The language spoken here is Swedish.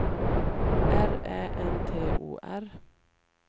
R Ä N T O R